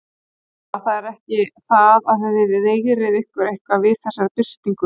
Þóra: Það er ekki það að þið veigrið ykkur eitthvað við þessari birtingu?